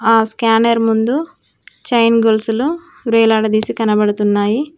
ఆ స్కానర్ ముందు చైన్ గొలుసులు వేలాడదీసి కనబడుతున్నాయి.